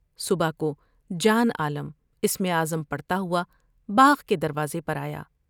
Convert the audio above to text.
صبح کو جان عالم اسم اعظم پڑھتا ہوا باغ کے دروازے پر آیا ۔